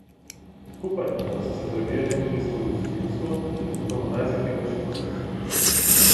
Skupaj pa so se prebijali tudi skozi vsebinsko in jezikovno najzahtevnejše pasuse.